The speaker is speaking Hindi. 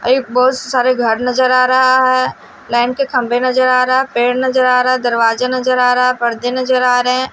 एक बहुत सारे घर नजर आ रहा है लाइन के खंभे नजर आ रहा है पेड़ नजर आ रहा है दरवाजा नजर आ रहा है पर्दे नजर आ रहे हैं।